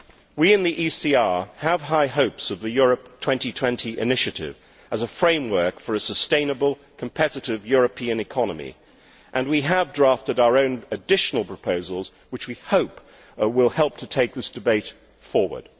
We in the ECR Group have high hopes of the Europe 2020 initiative as a framework for a sustainable, competitive European economy, and we have drafted our own additional proposals which we hope will help to take this debate forward.